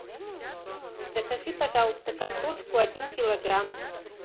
закажи пожалуйста картошку один килограмм